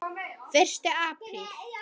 Fyrsti apríl.